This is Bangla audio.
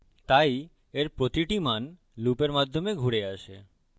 তাই এর প্রতিটি মান লুপের মাধ্যমে ঘুরে আসে